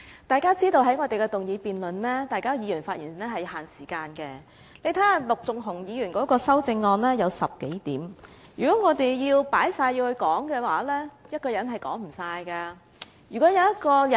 大家也知道，議員在議案辯論中發言是有限時的，大家看一看，陸頌雄議員的修正案有10多點，如果我們全部也加入議案內討論，一個人是說不完的。